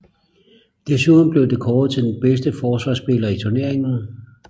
Desuden blev det kåret til den bedste forsvarsspiller i turneringen